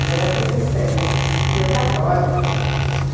Ele era protestante e eu católica.